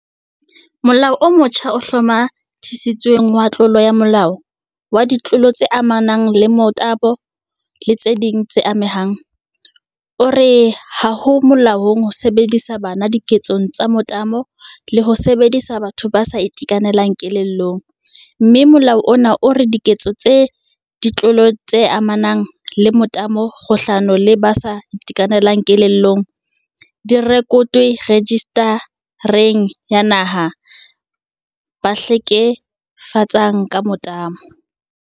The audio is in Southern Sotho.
Molao o motjha o Hlomathisitsweng wa Tlolo ya molao, wa Ditlolo tse amanang le Motabo le tse ding tse Amehang, o re ha ho molaong ho sebedisa bana diketsong tsa motabo le ho sebedisa batho ba sa itekanelang kelellong, mme molao ona o re diketso tsa ditlolo tse amanang le motabo kgahlano le ba sa itekanelang kelellong di rekotwe Rejista reng ya Naha ya ba Hleke fetsang ka Motabo, NRSO.